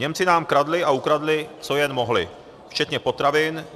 Němci nám kradli a ukradli, co jen mohli, včetně potravin.